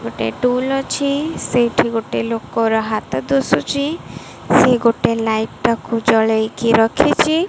ଗୋଟେ ଟୁଲ୍ ଅଛି ସେଇଠି ଗୋଟେ ଲୋକର ହାତ ଦୁଶୁଚି ସେ ଗୋଟେ ଲାଇଟ ଟାକୁ ଜଳେଇକି ରଖିଚି।